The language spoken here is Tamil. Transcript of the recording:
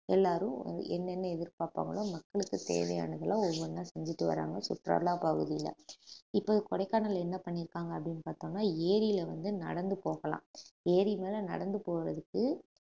எல்லாரும் என்னென்ன எதிர்பார்ப்பாங்களோ மக்களுக்கு தேவையானது எல்லாம் ஒவ்வொண்ணா செஞ்சுட்டு வராங்க சுற்றுலா பகுதியில இப்ப கொடைக்கானல் என்ன பண்ணிருக்காங்க அப்படீன்னு பார்த்தோம்னா ஏரியில வந்து நடந்து போகலாம் ஏரி மேல நடந்து போறதுக்கு